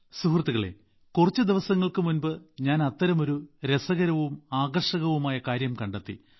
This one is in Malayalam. സുഹൃത്തുക്കളേ കുറച്ച് ദിവസങ്ങൾക്ക് മുമ്പ് ഞാൻ അത്തരമൊരു രസകരവും ആകർഷകവുമായ കാര്യം കണ്ടെത്തി